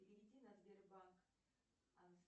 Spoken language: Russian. переведи на сбербанк